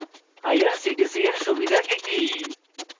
irctc এর সুবিধা কি কি